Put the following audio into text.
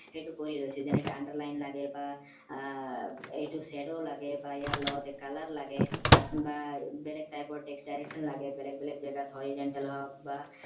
সেইটো কৰি লৈছো যেনেকে underline লাগে বা আহ এইটো shadow লাগে বা ইয়াৰ লগতে color লাগে বা বেলেগ type ৰ text direction লাগে বেলেগ বেলেগ জেগাত horizontal হওক বা